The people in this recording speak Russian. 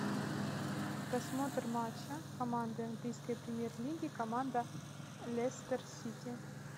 просмотр матча команды английской премьер лиги команда лестер сити